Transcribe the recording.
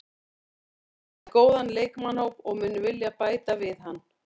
Hann er með góðan leikmannahóp og mun vilja bæta við hann.